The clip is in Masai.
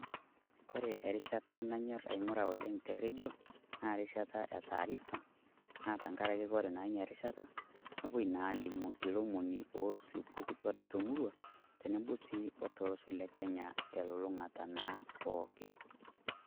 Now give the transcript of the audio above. Kore erishata naanyor aing'uraa oleng te redio naa rishata e taarifa naa tang'araki kore naa erishata nepoo naa alimu elomoni o tupukutwa doo te murrua teneboo si otolosho le kenya te lulung'ata pooki.